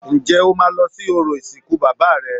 Ǹjẹ́ o máa lọ sí orò ìsìnkú bàbá rẹ